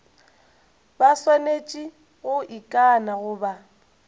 ba swanetše go ikana goba